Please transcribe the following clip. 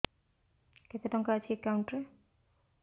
କେତେ ଟଙ୍କା ଅଛି ଏକାଉଣ୍ଟ୍ ରେ